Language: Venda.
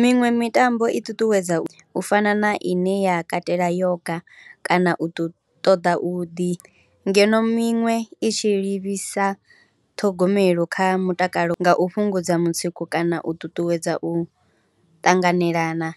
miṅwe mitambo i ṱuṱuwedza u fana na ine ya katela yoga kana u ṱoḓa u ḓi, ngeno miṅwe i tshi livhisa ṱhogomelo kha mutakalo nga u fhungudza mutsiko kana u ṱuṱuwedza u ṱanganelana.